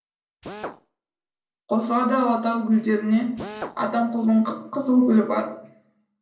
қосылады алатау гүлдеріне атамқұлдың қып қызыл гүлі барып